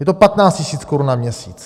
Je to 15 tisíc korun na měsíc.